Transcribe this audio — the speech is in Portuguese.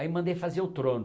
Aí eu mandei fazer o trono.